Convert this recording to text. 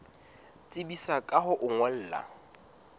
tsebisa ka ho o ngolla